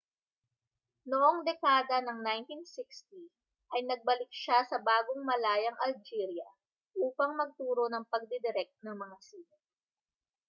noong dekada ng 1960 ay nagbalik siya sa bagong-malayang algeria upang magturo ng pagdidirek ng mga sine